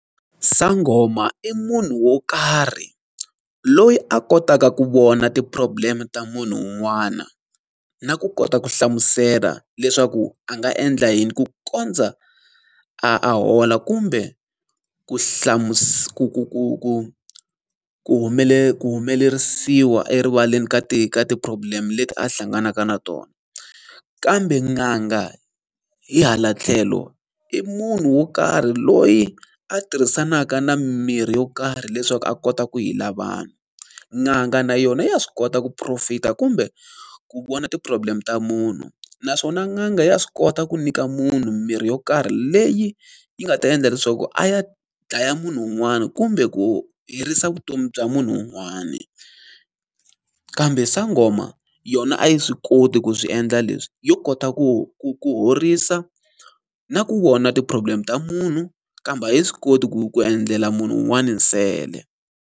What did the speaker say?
Sangoma i munhu wo karhi loyi a kotaka ku vona ti-problem-e ta munhu un'wana, na ku kota ku hlamusela leswaku a nga endla yini ku kondza a a hola kumbe ku ku ku ku ku ku humelerisiwa erivaleni ka ka ti-problem leti a hlanganaka na tona. Kambe n'anga hi hala tlhelo, i munhu wo karhi loyi a tirhisanaka na mimirhi yo karhi leswaku a kota ku heal-a vanhu. N'anga na yona ya swi kota ku purofeta kumbe ku vona ti-problem ta munhu. Naswona n'anga ya swi kota ku nyika munhu mirhi yo karhi leyi yi nga ta endla leswaku a ya dlaya munhu wun'wani kumbe ku herisa vutomi bya munhu wun'wani. Kambe sangoma yona a yi swi koti ku swi endla leswi, yo kota ku ku ku horisa, na ku wona ti-problem ta munhu, kambe a yi swi koti ku ku endlela munhu un'wana nsele.